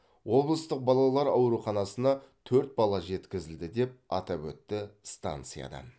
облыстық балалар ауруханасына төрт бала жеткізілді деп атап өтті станциядан